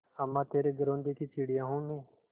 अम्मा तेरे घरौंदे की चिड़िया हूँ मैं